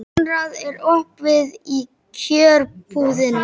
Konráð, er opið í Kjörbúðinni?